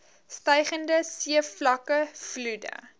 stygende seevlakke vloede